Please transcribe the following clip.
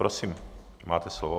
Prosím, máte slovo.